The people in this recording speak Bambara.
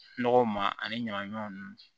Nɔgɔw ma ani ɲamanɲaman ninnu